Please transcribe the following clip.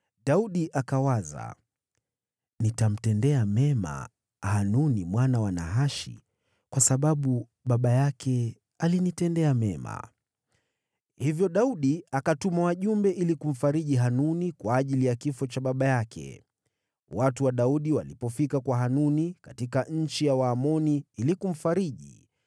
Daudi akawaza, “Nitamtendea wema Hanuni mwana wa Nahashi, kwa sababu baba yake alinitendea wema.” Hivyo Daudi akatuma wajumbe ili kumfariji Hanuni kwa ajili ya kifo cha baba yake. Watu wa Daudi walipofika kwa Hanuni katika nchi ya Waamoni ili kumfariji,